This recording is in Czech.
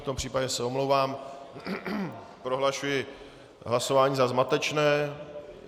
V tom případě se omlouvám, prohlašuji hlasování za zmatečné.